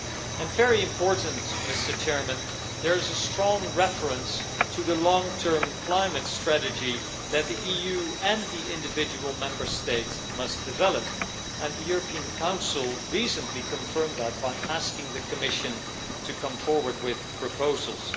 And, very important, there is a strong reference to the long term climate strategy that the EU and the individual Member States must develop, and the European Council recently confirmed that by asking the Commission to come forward with proposals.